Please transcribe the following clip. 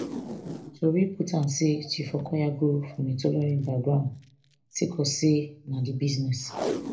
tori put am say chief okoya grow from a tailoring background sake of say na di business